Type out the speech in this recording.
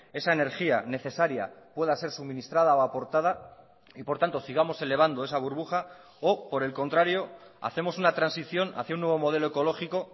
esa energía necesaria pueda ser suministrada o aportada y por tanto sigamos elevando esa burbuja o por el contrario hacemos una transición hacia un nuevo modelo ecológico